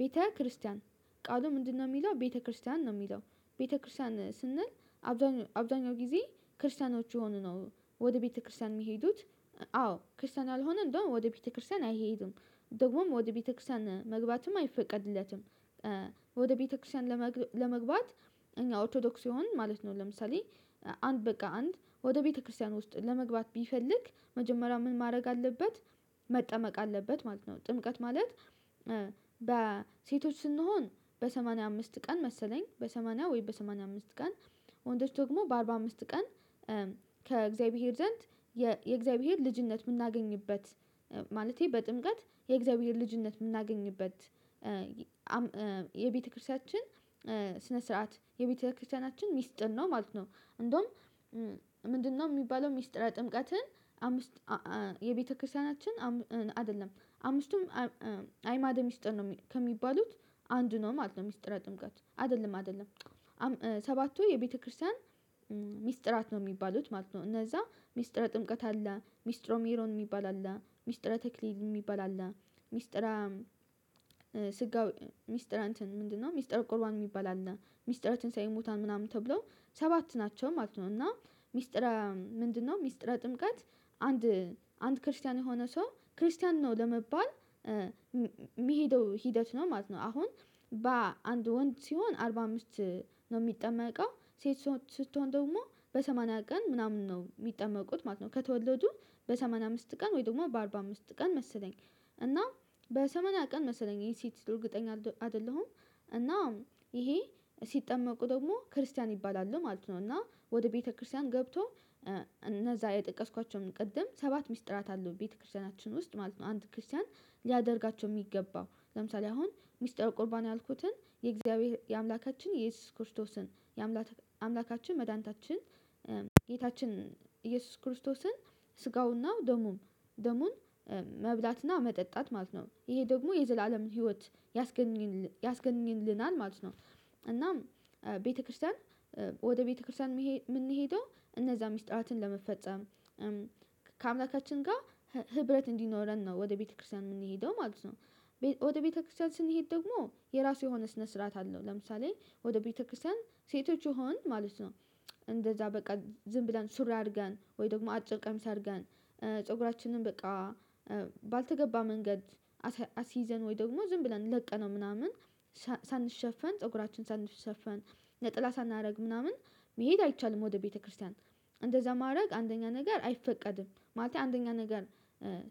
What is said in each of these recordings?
ቤተክርስቲያን ቃሉ ምንድነው? የሚለው ቤተክርስቲያን ነው የሚለው ቤተክርስቲያን ስንል አብዛኛው አብዛኛው ጊዜ ክርስቲያኖች የሆኑ ነው ወደ ቤተክርስቲያን የሚሄዱት። አዎ ክርስቲያን ያልሆነ እንደውም ወደ ቤተክርስቲያን አይሄድም። ደግሞም ወደ ቤተክርስቲያን መግባትም አይፈቀድለትም። ወደ ቤተክርስቲያን ለመግባት እኛ ኦርቶዶክስ ይሆን ማለት ነው። ለምሳሌ አንድ በቃ አንድ ወደ ቤተክርስቲያን ውስጥ ለመግባት ቢፈልግ መጀመሪያ ምን ማድረግ አለበት? መጠመቅ አለበት ማለት ነው። ጥምቀት ማለት በሴቶች ስንሆን በሰማንያ አምስት ቀን መሰለኝ በሰማንያ ወይ በሰማንያ አምስት ቀን። ወንዶች ደግሞ በአርባ አምስት ቀን። ከእግዚአብሔር ዘንድ የእግዚአብሔር ልጅነት የምናገኝበት ማለቴ በጥምቀት የእግዚአብሔር ልጅነት የምናገኝበት። የቤተክርስቲያችን ስነ ስርዓት የቤተክርስቲያናችን ሚስጥን ነው ማለት ነው። እንደውም ምንድነው? የሚባለው ሚስጥራዊ ጥምቀትን አምስት የቤተክርስቲያናችን አይደለም አምስቱም አይማድ ሚስጥር ነው ከሚባሉት አንድ ነው ማለት ነው። ሚስጥረ ጥምቀት አይደለም አይደለም ሰባቱ የቤተክርስቲያን ሚስጥራት ነው የሚባሉት ማለት ነው። እነዛ ሚስጥረ ጥምቀት አለ ሚስጥሮ ሜሮን የሚባል አለ ሚስጥረ ተክሊል የሚባል አለ። ሚስጥረ ስጋዊ ሚስጥር አንትን ምንድነው? ሚስጥር ቁርባን የሚባል አለ ሚስጥር ትንሳኤ ቦታን ምናምን ተብሎ ሰባት ናቸው ማለት ነው። እና ሚስጥራ ምንድነው? ሚስጥራ ጥምቀት አንድ አንድ ክርስቲያን የሆነ ሰው ክርስቲያን ነው ለመባል የሚሄደው ሂደት ነው ማለት ነው። አሁን በአንድ ወንድ ሲሆን አርባ አምስት ነው የሚጠመቀው ሴት ስትሆን ደግሞ በሰማንያ ቀን ምናምን ነው የሚጠመቁት ማለት ነው። ከተወለዱ በሰማኒያ አምስት ቀን ወይ ደግሞ በአርባ አምስት ቀን መሰለኝ እና በሰማኒያ ቀን መሰለኝ የሴት እርግጠኛ አይደለሁም። እና ይሄ ሲጠመቁ ደግሞ ክርስቲያን ይባላሉ ማለት ነው። እና ወደ ቤተክርስቲያን ገብቶ እነዛ የጠቀስኳቸውን ቅድም ሰባት ሚስጥራት አለው ቤተክርስቲያናችን ውስጥ ማለት ነው። አንድ ክርስቲያን ሊያደርጋቸው የሚገባው ለምሳሌ አሁን ሚስጥረ ቁርባን ያልኩትን የእግዚአብሔር የአምላካችን የኢየሱስ ክርስቶስን የአምላካችን መድኃኒታችን ጌታችን ኢየሱስ ክርስቶስን ስጋውንና ደሙን ደሙን መብላትና መጠጣት ማለት ነው። ይሄ ደግሞ የዘላለምን ህይወት ያስገኝልናል ያስገኝልናል ማለት ነው። እናም ቤተክርስቲያን ወደ ቤተክርስቲያን የምንሄደው እነዛ ምስጢራትን ለመፈጸም ከአምላካችን ጋር ህብረት እንዲኖረን ነው። ወደ ቤተክርስቲያን የምንሄደው ማለት ነው። ወደ ቤተክርስቲያን ስንሄድ ደግሞ የራሱ የሆነ ስነ ስርዓት አለው። ለምሳሌ ወደ ቤተክርስቲያን ሴቶች ይሆን ማለት ነው። እንደዛ በቃ ዝም ብለን ሱሪ አድርገን ወይ ደግሞ አጭር ቀሚስ አድርገን ፀጉራችንን በቃ ባልተገባ መንገድ አስይዘን ወይ ደግሞ ዝም ብለን ለቀነው ምናምን ሳንሸፈን ፀጉራችን ሳንሸፈን ለቀን ሳናደርግ ምናምን መሄድ አይቻልም። ወደ ቤተክርስቲያን እንደዛ ማድረግ አንደኛ ነገር አይፈቀድም። ማለት አንደኛ ነገር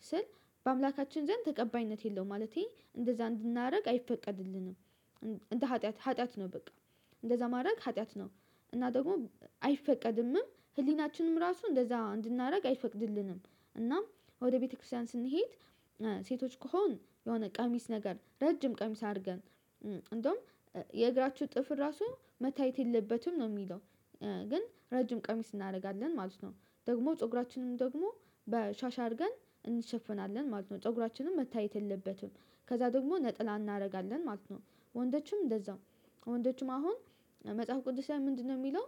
ስል በአምላካችን ዘንድ ተቀባይነት የለውም ማለቴ እንደዛ እንድናደርግ አይፈቀድልንም። እንደ ሀጥያት ሀጥያት ነው በቃ እንደዛ ማድረግ ሀጢያት ነው። እና ደግሞ አይፈቀድምም ህሊናችንም ራሱ እንደዛ እንድናደርግ አይፈቅድልንም። እና ወደ ቤተክርስቲያን ስንሄድ ሴቶች ከሆን የሆነ ቀሚስ ነገር ረጅም ቀሚስ አድርገን እንደውም የእግራችሁ ጥፍር ራሱ መታየት የለበትም። ነው የሚለው ግን ረጅም ቀሚስ እናደርጋለን ማለት ነው ደግሞ ፀጉራችንም ደግሞ በሻሽ አድርገን እንሸፈናለን ማለት ነው። ፀጉራችንም መታየት የለበትም። ከዛ ደግሞ ነጠላ እናደርጋለን ማለት ነው። ወንዶችም እንደዛው ወንዶችም አሁን መጽሐፍ ቅዱስ ላይ ምንድነው? የሚለው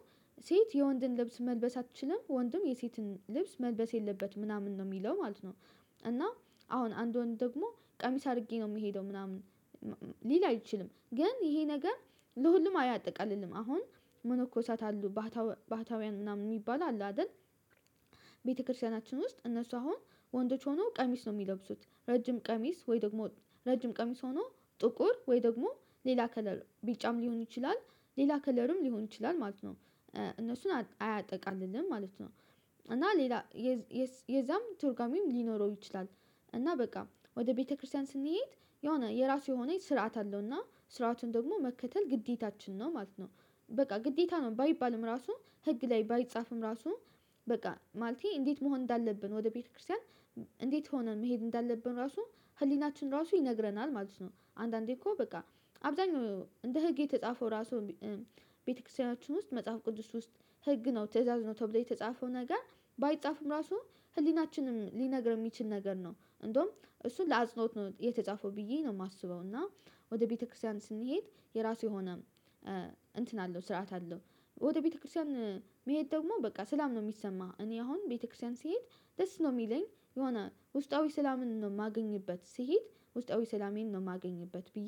ሴት የወንድን ልብስ መልበስ አትችልም ወንድም የሴትን ልብስ መልበስ የለበትም ምናምን ነው የሚለው ማለት ነው። እና አሁን አንድ ወንድ ደግሞ ቀሚስ አድርጌ ነው የምሄደው ምናምን ሊል አይችልም ግን ይሄ ነገር ለሁሉም አያጠቃልልም። አሁን መነኮሳት አሉ ባህታውያን ምናምን የሚባል አለ አይደል? ቤተክርስቲያናችን ውስጥ እነሱ አሁን ወንዶች ሆነው ቀሚስ ነው የሚለብሱት ረጅም ቀሚስ ወይ ደግሞ ረጅም ቀሚስ ሆነው ጥቁር ወይ ደግሞ ሌላ ከለር ቢጫም ሊሆን ይችላል ሌላ ከለርም ሊሆን ይችላል ማለት ነው። እነሱን አያጠቃልልም ማለት ነው። እና ሌላ የዛም ትርጉሜም ሊኖረው ይችላል። እና በቃ ወደ ቤተክርስቲያን ስንሄድ የሆነ የራሱ የሆነ ስርዓት አለው እና ስርዓቱን ደግሞ መከተል ግዴታችን ነው ማለት ነው። በቃ ግዴታ ነው ባይባልም ራሱ ህግ ላይ ባይጻፍም ራሱ በቃ ማለቴ እንዴት መሆን እንዳለብን ወደ ቤተክርስቲያን እንዴት ሆነን መሄድ እንዳለብን ራሱ ህሊናችን ራሱ ይነግረናል ማለት ነው። አንዳንዴ እኮ በቃ አብዛኛው እንደ ህግ የተጻፈው ራሱ ቤተክርስቲያናችን ውስጥ መጽሐፍ ቅዱስ ውስጥ ህግ ነው ትእዛዝ ነው ተብሎ የተጻፈው ነገር ባይጻፍም ራሱ ህሊናችንም ሊነግር የሚችል ነገር ነው። እንደውም እሱን ለአጽኖት ነው የተጻፈው ብዬ ነው የማስበው። እና ወደ ቤተክርስቲያን ስንሄድ የራሱ የሆነ እንትን አለው ስርዓት አለው። ወደ ቤተክርስቲያን መሄድ ደግሞ በቃ ሰላም ነው የሚሰማህ። እኔ አሁን ቤተክርስቲያን ስሄድ ደስ ነው የሚለኝ። የሆነ ውስጣዊ ሰላምን ነው የማገኝበት ስሂድ ውስጣዊ ሰላሜን ነው የማገኝበት ብዬ